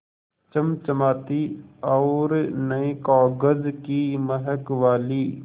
चमचमाती और नये कागज़ की महक वाली